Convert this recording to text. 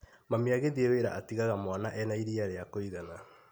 Mami agĩthiĩ wĩra atigaga mwana ena iria rĩa kũgana.